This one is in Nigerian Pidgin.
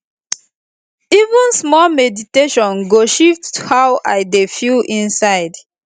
even small meditation go shift how i dey feel inside